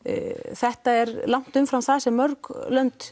þetta er langt umfram það sem mörg